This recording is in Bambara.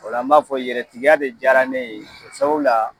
O la n b'a fɔ yɛrɛtigiya de diyara ne ye sabu la